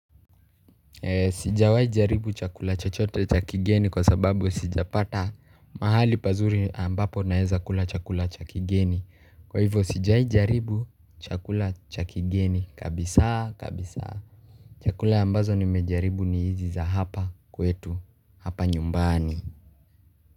Sijawahii jaribu chakula chachote cha kigeni kwa sababu sijapata mahali pazuri ambapo naeza kula cha kigeni. Kwa hivyo sijai jaribu chakula cha kigeni kabisa kabisa. Chakula ambazo nimejaribu ni hizi za hapa kwetu hapa nyumbani.